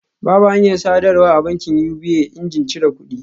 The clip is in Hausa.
Babu hanyar sadarwa a bankin UBA injin cire kudi